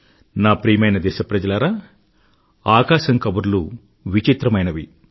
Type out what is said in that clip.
నా ప్రియమైన దేశప్రజలారా ఆకాశం కబుర్లు విచిత్రమైనవి